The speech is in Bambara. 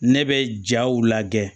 Ne bɛ jaw lajɛ